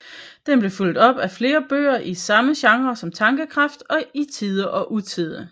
Den blev fulgt op af flere bøger i samme genre som Tankekraft og I Tide og Utide